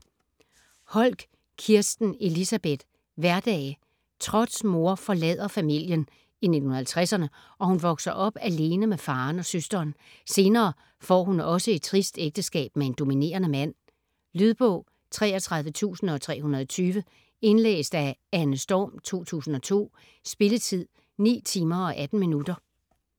Holck, Kirsten Elisabeth: Hverdage Trotts mor forlader familien - i 1950'erne - og hun vokser op alene med faderen og søsteren. Senere får også hun et trist ægteskab med en dominerende mand. Lydbog 33320 Indlæst af Anne Storm, 2002. Spilletid: 9 timer, 18 minutter.